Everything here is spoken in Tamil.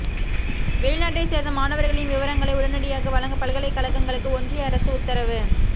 வெளிநாட்டை சேர்ந்த மாணவர்களின் விவரங்களை உடனடியாக வழங்க பல்கலைக்கழகங்களுக்கு ஒன்றிய அரசு உத்தரவு